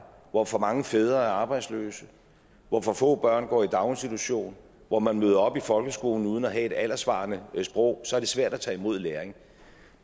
hvor for mange fædre er arbejdsløse hvor for få børn går i daginstitution og hvor man møder op i folkeskolen uden at have et alderssvarende sprog så er det svært at tage imod læring